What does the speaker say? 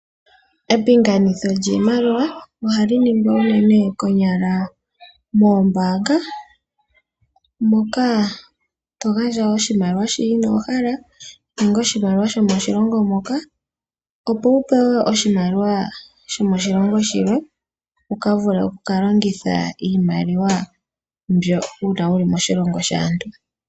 Epinganitho lyiimaliwa ohali ningwa konyala uunene mombaanga moka to gandja oshimaliwa shono ino hala nenge oshimaliwa shomoshilongo moka opo wu pewe oshimaliwa shomoshilongo shilwe wu vule wu ka longithe iimaliwa mbyoka uuna wu li moshilongo shaantu.